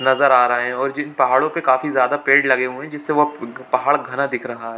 नजर आ रहे हैं और जिन्ह पहाड़ों पे काफी ज्यादा पेड़ लगे हुए हैं जिसे पहाड़ घना दिख रहा है।